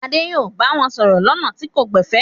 Adé yóò bá wọn sọ̀rọ̀ lọ́nà tí kò gbẹ̀fẹ̀!